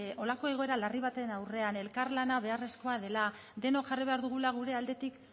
holako egoera larri baten aurrean elkarlana beharrezkoa dela denok jarri behar dugula gure aldetik